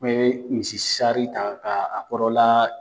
I bɛ misisari ta ka a kɔrɔla